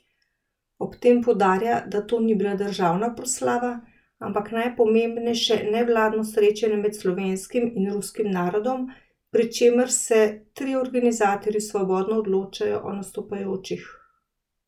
Ob tem poudarja, da to ni bila državna proslava, ampak najpomembnejše nevladno srečanje med slovenskim in ruskim narodom, pri čemer se trije organizatorji svobodno odločajo o nastopajočih.